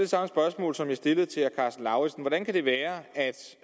samme spørgsmål som jeg stillede til herre karsten lauritzen hvordan kan det være at